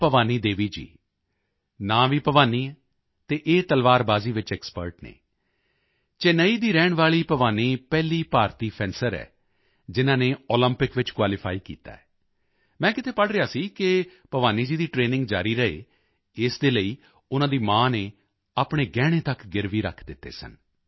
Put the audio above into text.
ਭਵਾਨੀ ਦੇਵੀ ਜੀ ਨਾਂ ਭਵਾਨੀ ਹੈ ਅਤੇ ਇਹ ਤਲਵਾਰਬਾਜ਼ੀ ਵਿੱਚ ਐਕਸਪਰਟ ਹਨ ਚੇਨਈ ਦੀ ਰਹਿਣ ਵਾਲੀ ਭਵਾਨੀ ਪਹਿਲੀ ਭਾਰਤੀ ਫੈਂਸਰ ਹੈ ਜਿਨ੍ਹਾਂ ਨੇ ਓਲੰਪਿਕ ਵਿੱਚ ਕੁਆਲੀਫਾਈ ਕੀਤਾ ਹੈ ਮੈਂ ਕਿਤੇ ਪੜ੍ਹ ਰਿਹਾ ਸੀ ਕਿ ਭਿਵਾਨੀ ਜੀ ਦੀ ਟਰੇਨਿੰਗ ਜਾਰੀ ਰਹੇ ਇਸ ਦੇ ਲਈ ਉਨ੍ਹਾਂ ਦੀ ਮਾਂ ਨੇ ਆਪਣੇ ਗਹਿਣੇ ਤੱਕ ਗਿਰਵੀ ਰੱਖ ਦਿੱਤੇ ਸਨ